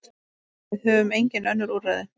Við höfum engin önnur úrræði.